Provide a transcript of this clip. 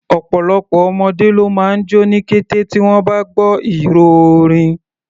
Ọ̀pọ̀lọpọ̀ ọmọdé ló máa jó ní kété tí wọ́n bá gbọ́ ìró orin.